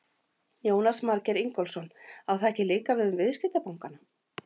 Jónas Margeir Ingólfsson: Á það ekki líka við um viðskiptabankana?